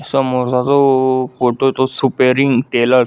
समोर चा जो फोटो आहे तो सुपेरिंग टेलर्स--